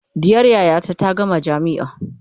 ɗiyar yayata ta gama jamia